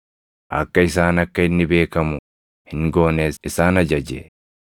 akka isaan akka inni beekamu hin goones isaan ajaje.